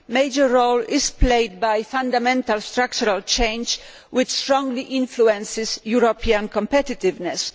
A major role is played by fundamental structural change, which strongly influences European competitiveness.